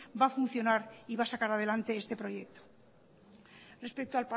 va a funcionar y va a sacar adelante este proyecto respecto